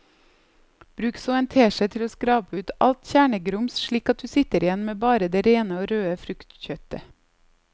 Bruk så en teskje til å skrape ut alt kjernegrums slik at du sitter igjen med bare det rene og røde fruktkjøttet.